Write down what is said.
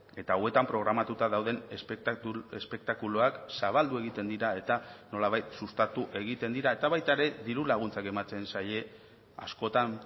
eta hauetan programatuta dauden espektakuluak zabaldu egiten dira eta nolabait sustatu egiten dira eta baita ere diru laguntzak ematen zaie askotan